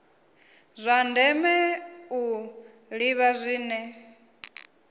zwa ndeme u ḓivha zwine